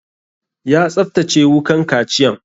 Ya tsaftace wukan kaciyan?